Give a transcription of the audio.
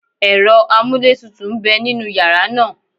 Ẹ̀rọ amúlétutù ń bẹ nínú yàrá náà